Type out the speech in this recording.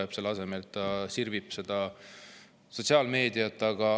Kuid selle asemel sirvib ta sotsiaalmeediat.